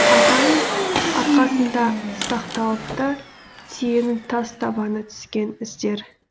атаның арқасында сақталыпты түйенің тас табаны түскен іздер